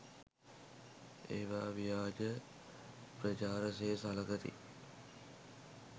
ඒවා ව්‍යාජ ප්‍රචාර සේ සළකති.